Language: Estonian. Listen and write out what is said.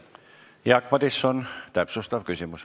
Jaak Madison, täpsustav küsimus.